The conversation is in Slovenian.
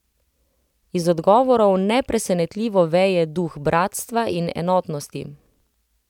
Iz odgovorov nepresenetljivo veje duh bratstva in enotnosti.